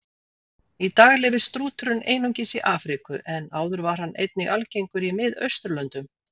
Í dag lifir strúturinn einungis í Afríku en áður var hann einnig algengur í Miðausturlöndum.